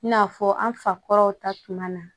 I n'a fɔ an fa kɔrɔw ta tuma na